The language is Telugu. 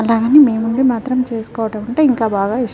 అలాగని మేము ఉంది మాత్రం చేస్కోవడం అంటే ఇంకా బాగా ఇష్టం.